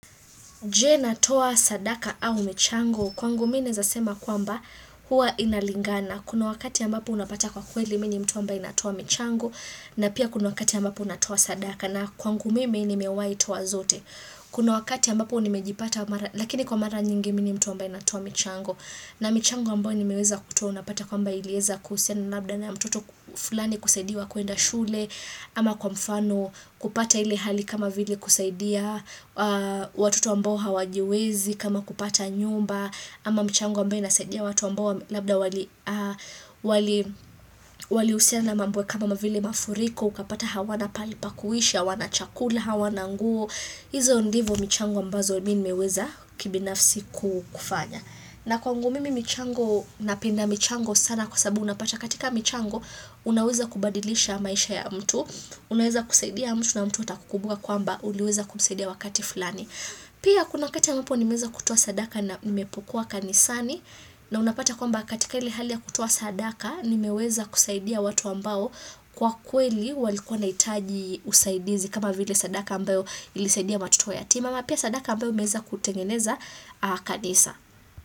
Je natoa sadaka au michango, kwangu mimi naweza sema kwamba huwa inalingana. Kuna wakati ambapo unapata kwa kweli mimi ni mtu ambaye natoa michango na pia kuna wakati ambapo natoa sadaka na kwangu mimi nimewai toa zote. Kuna wakati ambapo nimejipata lakini kwa mara nyingi mimi ni mtu ambaye anatoa michango na michango ambayo ni meweza kutoa unapata kwamba ilieza kuhusiana labda na mtoto fulani kusaidiwa kuenda shule ama kwa mfano kupata ile hali kama vile kusaidia watoto ambao hawajiwezi kama kupata nyumba ama mchango ambayo inasaidia watu ambao labda wali walihusiana na mambwo kama vile mafuriko ukapata hawana pahali pakuishi, hawana chakula hawana nguo, hizo ndivo michango ambazo mimi nimeweza kibinafsi kufanya na kwangu mimi michango napenda michango sana kwa sababu unapata katika michango unaweza kubadilisha maisha ya mtu unaweza kusaidia mtu na mtu atakukubuka kwamba uliweza kumsaidia wakati fulani pia kuna wakatika ambapo nimeweza kutoa sadaka na nimepokuwa kanisani na unapata kwamba katika ile hali ya kutoa sadaka ni meweza kusaidia watu ambao kwa kweli walikua wana hitaji usaidizi kama vile sadaka ambayo ilisaidia watoto wa yatima ama pia sadaka ambayo imeweza kutengeneza kanisa.